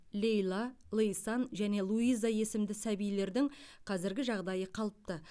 лейла лейсан және луиза есімді сәбилердің қазіргі жағдайы қалыпты